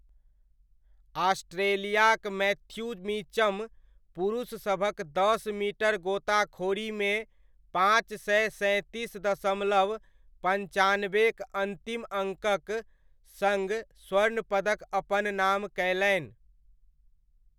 ऑस्ट्रेलियाक Matthew Mitcham पुरुषसभक दस metre गोताखोरीमे पाँच सय सैँतीस दशमलव पञ्चानब्बेक अन्तिम अङ्कक सङ्ग स्वर्ण पदक अपन नाम कयलनि।